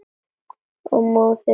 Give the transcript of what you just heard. Og móður sína.